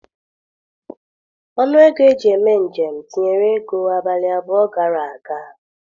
Ọnụ ego eji eme njem tinyere ego abalị abụọ gara aga.